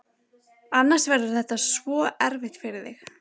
Annars verður þetta svo erfitt fyrir þig.